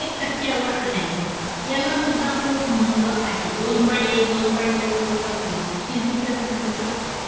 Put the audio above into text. एक टक्क्यावर आणायचा होता. यालासुद्धा खूप महत्व आहे. दोन point एक, दोन point दोन, दोन point तीन, हे MPSC असं फसवू शकते.